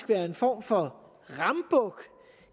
være en form for rambuk